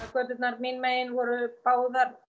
göturnar mín megin voru báðar